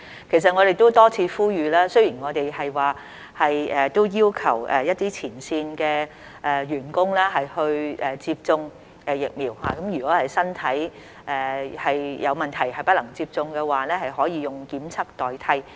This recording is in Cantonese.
其實，我們都多次呼籲，雖然我們都要求一些前線員工接種疫苗，如果是身體有問題而不能接種的話，可以用檢測代替。